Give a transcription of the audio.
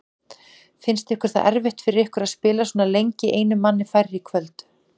Fannst þér það erfitt fyrir ykkur að spila svona lengi einum manni færri í kvöld?